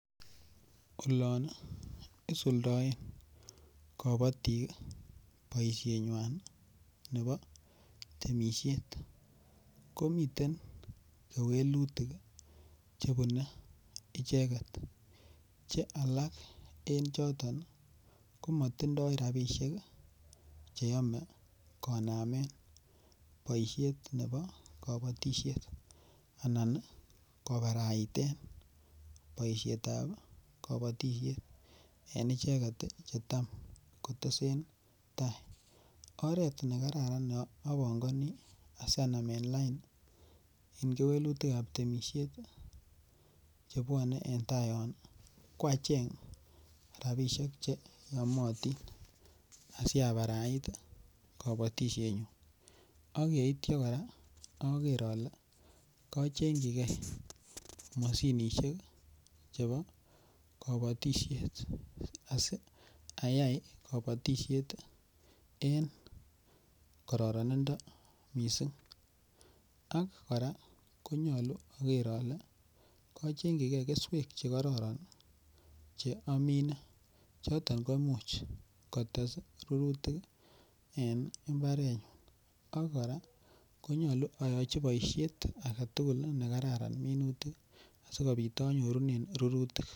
Olon isuldoen kabatik boisienywan nebo temisiet ko miten kewelutik chebune icheget Che alak en choton ko matindoi rabisiek Che yome konamen boisiet nebo kabatisiet anan kobaraiten boisiet ab kabatisiet en icheget Che Tam kotesentai oret ne kararan ne apangoni asi anamen lain en kewelutik temisiet chebwone en tai yon ko acheng rabisiek Che yomotin asi abarait kobotisienyun ak yeityo kora ager ale kachengchigei mashinisiek chebo kabatisiet asi kabatisiet en kororinindo mising ak kora ko nyolu ager ale kochengchijigei keswek Che kororon Che amine choton ko Imuch kotes rurutik en mbarenyun ak kora ko nyolu yachi boisiet age tugul ne kararan minutik asikobit anyorunen rurutik